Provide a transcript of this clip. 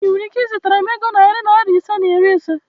Ị nwere ike izitara m ego narị Naira ise na iri ise?